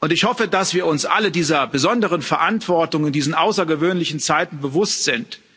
Ich hoffe, dass wir uns alle dieser besonderen Verantwortung in diesen außergewöhnlichen Zeiten bewusst sind.